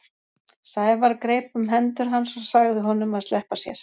Sævar greip um hendur hans og sagði honum að sleppa sér.